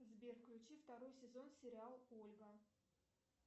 сбер включи второй сезон сериал ольга